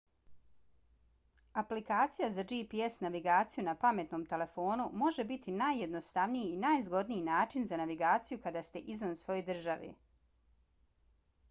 aplikacija za gps navigaciju na pametnom telefonu može biti najjednostavniji i najzgodniji način za navigaciju kada ste izvan svoje države